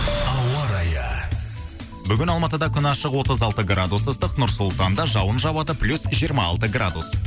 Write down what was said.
ауа райы бүгін алматыда күн ашық отыз алты градус ыстық нұр сұлтанда жауын жауады плюс жиырма алты градус